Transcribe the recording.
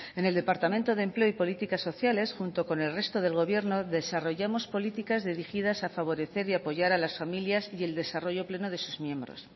en el departamento de empleo y políticas sociales junto con el resto del gobierno desarrollamos políticas dirigidas a favorecer y apoyar a las familias y el desarrollo pleno de sus miembros